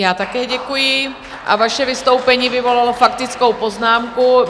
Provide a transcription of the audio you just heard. Já také děkuji a vaše vystoupení vyvolalo faktickou poznámku.